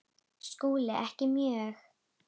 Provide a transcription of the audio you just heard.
SKÚLI: Ekki mjög.